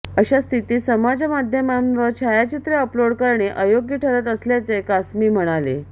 अशा स्थितीत समाजमाध्यमांवर छायाचित्रे अपलोड करणे अयोग्य ठरत असल्याचे कासमी म्हणाले